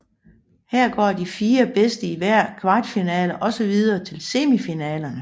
Her går de fire bedste i hver kvartfinale også videre til semifinalerne